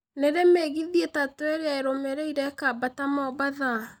Nĩ rĩ mĩgithi itatũ ĩrĩa ĩrũmĩrĩire ĩkambata mombatha